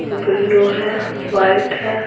Blue है white है।